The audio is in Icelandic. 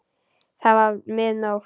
Það var mið nótt.